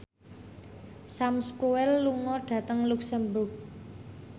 Sam Spruell lunga dhateng luxemburg